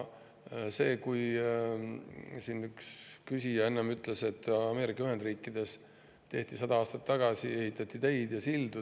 Siin üks küsija enne ütles, et Ameerika Ühendriikides ehitati sada aastat tagasi teid ja sildu.